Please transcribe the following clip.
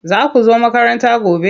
Za ku zo makaranta gobe?